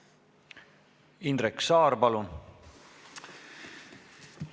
Indrek Saar, palun!